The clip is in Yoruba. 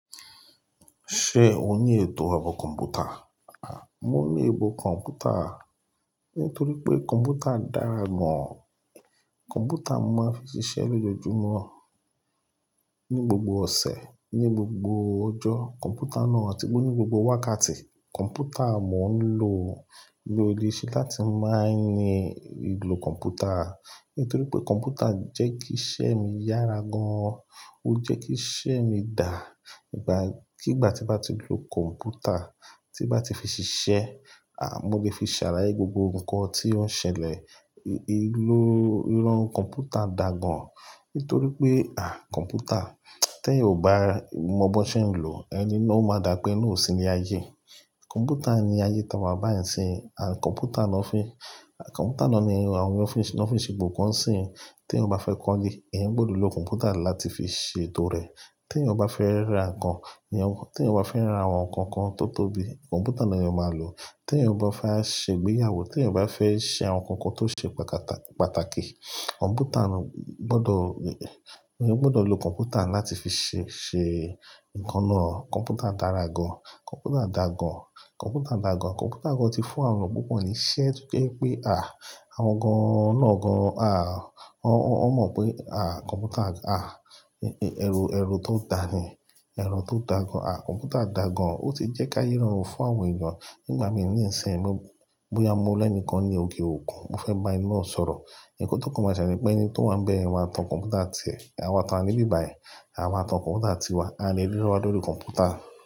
Ṣé o ní ètò àbọ̀ kọ̀mpútà? À, mo ní ètò kọ̀mpútà. Nítorí pé kọ̀mpútà dára gan. Kọ̀mpútà mo máa ń fi ṣiṣẹ́ lójoojúmọ́, ní gbogbo ọ̀sẹ̀, ní gbogbo ọjọ́. Kọ̀mpútà náà a ti ní gbogbo wákàtí. Kọ̀mpútà mo n lò lóri ṣe láti máa ní ìlò kọ̀mpútà. Nítorí pé kọ̀mpútà jẹ́ kí iṣẹ́ mi yára gan an. Ó jẹ́ kí iṣẹ́ mi dà. Ìgbà-- kí ìgbà tí màá ti lò kọ̀mpútà, tí bàá ti fi ṣiṣẹ́, à, mo lè fi ṣàlayé gbogbo nnkan tí ó ń ṣẹlẹ̀. Ì ló-- irun kọ̀mpútà dà gan. Nítorí pé, à, kọ̀mpútà, tí ẹyan ò bá mọ bó ṣe ń lò, ẹni náà, ó máa dàbi eni pé eni na òṣìní ayé. Kọ̀mpútà ni ayé táa wa bà ń sin. À, kọ̀mpútà náà fi-- à, kọ̀mpútà náà ni àwọn ọ́fíìsì, ní won nfi segbogbo kan ń sin. Tí ẹ bá fẹ́ kọ́lé, ẹ̀yin gbọdọ̀ lò kọ̀mpútà láti fi ṣètò rẹ. Tí ẹ bá fẹ́ ra nǹkan, èyí-- tí ẹ bá fẹ́ ra àwọn nǹkan kan tó tóbi, kọ̀mpútà ni ẹ̀yin máa lò. Tí ẹ bá fẹ́ ṣe ìgbéyàwó, tí ẹ bá fẹ́ ṣe àwọn nǹkan kan tó ṣe pàtàkì, kọ̀mpútà gbọdọ̀, eyan gbọdọ̀ lò kọ̀mpútà láti fi ṣé, ṣe nǹkan náà. Kọ̀mpútà dára gan. Kọ̀mpútà dà gan. Kọ̀mpútà dà gan. Kọ̀mpútà gan ti fún àwọn ènìyàn púpọ̀ ní iṣẹ́ kí ó jẹ́ pé, à, àwọn gan náà gan, à, wọ́n, wọ́n mọ̀ pé, à, kọ̀mpútà, à, ẹ̀rọ, ẹ̀rọ tó dà ni. Ẹ̀rọ tó dà gan. À, kọ̀mpútà dà gan. Ó ti jẹ́ káyẹ́ rọrùn fún àwọn ènìyàn. Nígbà mí níìsín, bóyá mo rí ẹni kan ní òkè òkun, mo fẹ́ bá ẹni náà sọ̀rọ̀. Ikan to ko ma sele ní pé ẹni tó wá ń bẹ ẹ maa tan kọ̀mpútà ti ẹ̀, àwa ti a wa ní ìbi bayi àwa maa tan kọ̀mpútà ti wa, a lè rírawa lóri kọ̀mpútà.